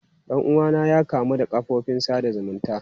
Dan uwana ya kamu da kafofin sada zumunci.